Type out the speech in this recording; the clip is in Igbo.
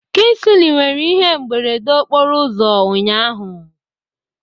Kingsley nwere ihe mberede okporo ụzọ ụnyahụ.